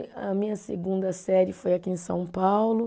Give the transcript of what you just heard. A minha segunda série foi aqui em São Paulo.